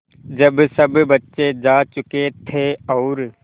जब सब बच्चे जा चुके थे और